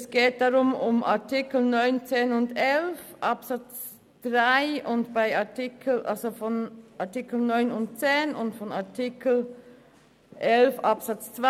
Es handelt sich um die Artikel 9 Absatz 3, Artikel 10 Absatz 3 und Artikel 11 Absatz 2.